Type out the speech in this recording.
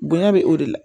Bonɲa bɛ o de la